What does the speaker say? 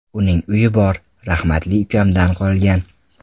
Uning uyi bor, rahmatli ukamdan qolgan.